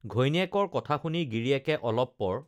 ঘৈণীয়েকৰ কথা শুনি গিৰিয়েকে অলপ পৰ